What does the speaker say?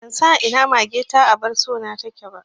Ban san a ina mage ta abar so na take ba